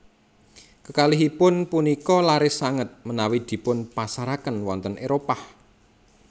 Kekalihipun punika laris sanget menawi dipunpasaraken wonten Éropah